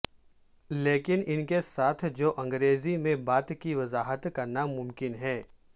لیکن ان کے ساتھ جو انگریزی میں بات کی وضاحت کرنا ممکن ہے